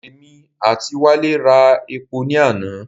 Èmi àti Wálé ra epo ní àná.